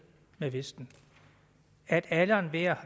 med vesten at alle og enhver